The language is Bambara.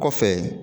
Kɔfɛ